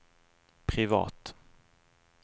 privat